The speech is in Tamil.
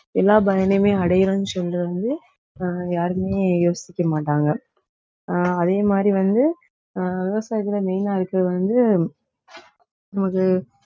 எல்லா பயனையுமே அடையறோம்ன்னு சொல்றது வந்து, ஆஹ் யாருமே யோசிக்க மாட்டாங்க. ஆஹ் அதே மாதிரி வந்து ஆஹ் விவசாயத்திலே main ஆ இருக்கிறது வந்து நமக்கு